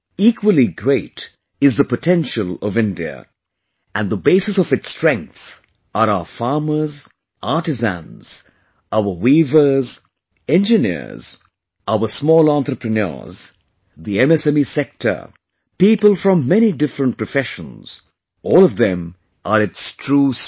Equally great is the potential of India... and the basis of its strength are our farmers, artisans, our weavers, engineers, our small entrepreneurs, the MSME sector; people from many different professions, all of them are its true strength